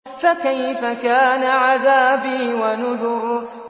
فَكَيْفَ كَانَ عَذَابِي وَنُذُرِ